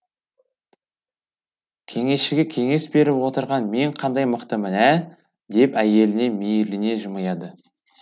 кеңесшіге кеңес беріп отырған мен қандай мықтымын ә деп әйеліне мейірлене жымияды